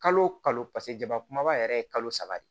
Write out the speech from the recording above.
Kalo o kalo paseke jama kumaba yɛrɛ ye kalo saba de